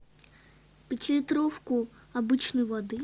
пятилитровку обычной воды